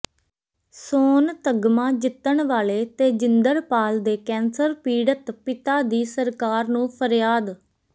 ਸੋਨ ਤਗ਼ਮਾ ਜਿੱਤਣ ਵਾਲੇ ਤੇਜਿੰਦਰਪਾਲ ਦੇ ਕੈਂਸਰ ਪੀੜਤ ਪਿਤਾ ਦੀ ਸਰਕਾਰ ਨੂੰ ਫਰਿਆਦ